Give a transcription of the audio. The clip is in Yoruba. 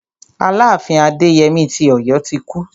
Aláàfin Adéyemí ti Ọ̀yọ́ ti kú.